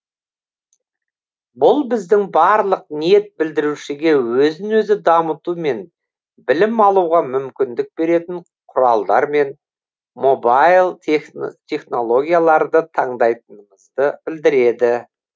бұл біздің барлық ниет білдірушіге өзін өзі дамыту мен білім алуға мүмкіндік беретін құралдар мен мобайл технологияларды таңдайтынымызды білдіреді